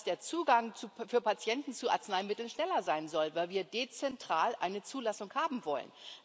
Dass der Zugang für Patienten zu Arzneimitteln schneller sein soll, weil wir dezentral eine Zulassung haben wollen.